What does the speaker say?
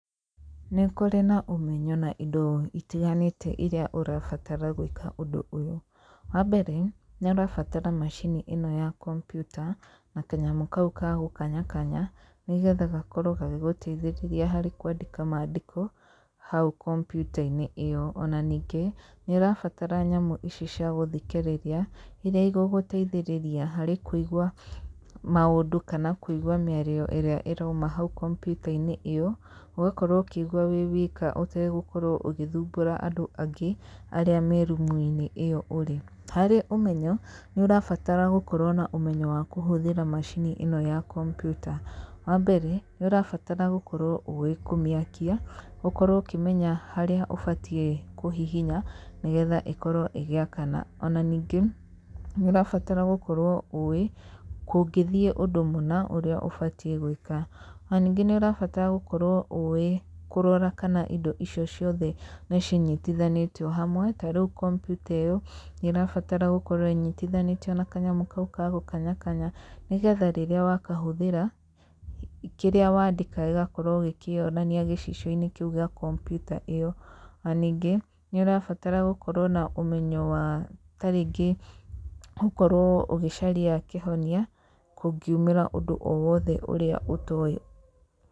Nĩ kũrĩ na ũmenyo na indo itiganĩte iria ũrabatara gwĩka ũndũ ũyũ, wambere, nĩ ũrabatara macini ĩno ya kompiuta, na kanyamũ kau ga gũkanyakanya, nĩgetha gakorwo gagĩgũteithĩrĩria harĩ kwandĩka mandĩko hau kompiuta-inĩ ĩyo, ona ningĩ nĩ ũrabatara nyamũ ici cia gũthikĩrĩria, iria igũgũteithĩrĩria harĩ kũigwa maũndũ kana kũigwa mĩario ĩrĩa ĩrauma hau kompiuta-inĩ ĩyo, ũgakorwo ũkĩigwa wĩ wika ũtegũkorwo ũgĩthumbũra andũ angĩ arĩa me rumu-inĩ ĩyo ũrĩ, harĩ ũmenyo, nĩ ũrabatara gũkorwo na ũmenyo wa kũhũthĩra macini ĩno ya kompiuta, wambere nĩ ũrabata gũkorwo ũwĩ kũmĩakia, ũkorwo ũkĩmenya harĩ ũbatiĩ kũhihinya nĩgetha ĩkorwo ĩgĩakana, ona ningĩ nĩ ũrabatara gũorwo ũwĩ kũngĩthiĩ ũndũ mũna ũrĩa ũbatiĩ gwĩka, ona ningĩ nĩ ũrabatara gũkorwo ũwĩ kũrora kana indo icio ciothe nĩ cinyitithanĩtio hamwe, ta rĩu kompita ĩyo nĩ ĩrabatara gũkorw ĩnyitithanĩtio na kanyamũ kau ga gũkanyakanya, nĩgetha rĩrĩa wakahũthĩra, kĩrĩa wandĩka gĩgakorwo gĩkĩonania gĩcicio-inĩ kĩu gĩa kompiuta ĩyo, ona ningĩ nĩ ũrabatara gũkorwo na ũmenyo wa ta rĩngĩ gũkorwo ũgĩcaria kĩhonia kũngiumĩra ũndũ o wothe ũrĩa ũtowĩ...